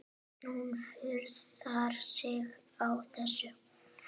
Hún furðar sig á þessu.